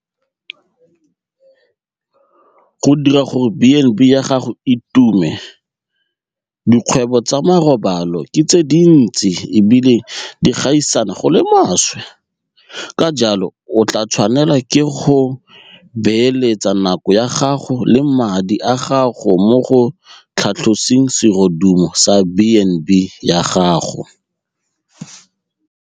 Go dira gore B and B ya gago e tume - Dikgwebo tsa marobalo ke tse dintsi e bile di gaisana go le maswe, ka jalo o tla tshwanelwa ke go beeletsa nako ya gago le madi a gago mo go tlhatloseng serodumo sa B and B ya gago.